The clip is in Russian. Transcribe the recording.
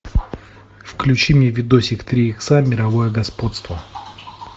включи мне видосик три икса мировое господство